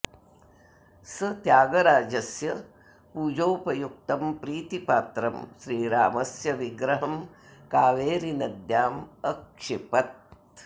सः त्यागराजस्य पूजोपयुक्तं प्रीतिपात्रं श्रीरामस्य विग्रहं कावेरीनद्याम् अक्षिपत्